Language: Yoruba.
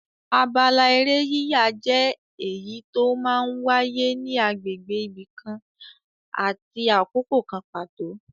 Abala eré yíyà jẹ́ èyí tó máa ń wáyé ní agbègbè ibi kan àti àkókò kan pàtó.